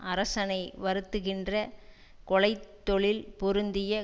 அரசனை வருத்துகின்ற கொலை தொழில் பொருந்திய